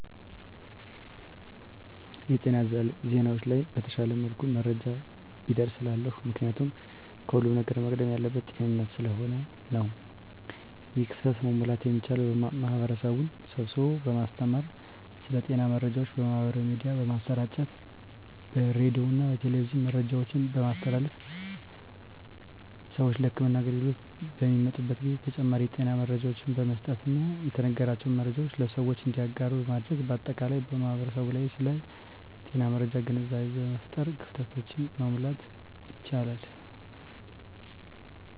የጤና ዜናዎች ላይ በተሻለ መልኩ መረጃዎች ቢደርሱ እላለሁ። ምክንያቱም ከሁለም ነገር መቅደም ያለበት ጤንነት ስለሆነ ነው። ይህን ክፍተት መሙላት የሚቻለው ማህበረሰብን ስብስቦ በማስተማር ስለ ጤና መረጃዎች በማህበራዊ ሚዲያ በማሰራጨት በሬዲዮና በቴሌቪዥን መረጃዎችን በማስተላለፍ ስዎች ለህክምና አገልግሎት በሚመጡበት ጊዜ ተጨማሪ የጤና መረጃዎችን በመስጠትና የተነገራቸውን መረጃዎች ለሰዎች እንዲያጋሩ በማድረግ በአጠቃላይ በማህበረሰቡ ላይ ስለ ጤና መረጃ ግንዛቤ በመፍጠር ክፍተቶችን መሙላት ይቻላል።